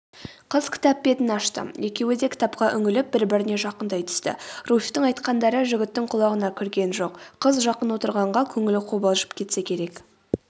қыз кітап бетін ашты екеуі де кітапқа үңіліп бір-біріне жақындай түсті руфьтің айтқандары жігіттің құлағына кірген жоқ қыз жақын отырғанға көңілі қобалжып кетсе керек